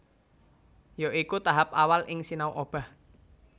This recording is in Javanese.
Ya iku tahap awal ing sinau obah